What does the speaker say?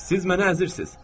Siz məni əzirsiz.